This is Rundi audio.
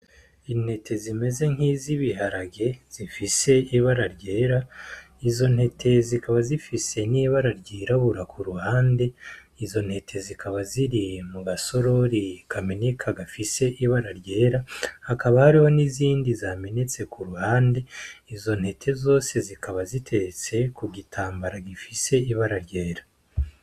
Intete zimeze nkizibiharage zifise ibara ryera izo ntete zikaba zifise nibara ryirabura kuruhande izo ntete zikaba ziri mugasorori kameneka gafise ibara ryera hakaba hariho nizindi zamenetse kuruhande izo ntete zose zikaba ziteretse kugitambara gifise ibara ryera.